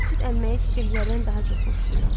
Mən süd əmməyi çiçəklərdən daha çox xoşlayıram.